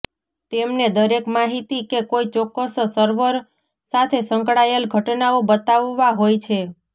તેમને દરેક માહિતી કે કોઈ ચોક્કસ સર્વર સાથે સંકળાયેલ ઘટનાઓ બતાવવા હોય છે